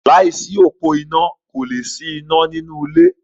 Láìsí òpó iná kò lè sí iná ní inú ilé.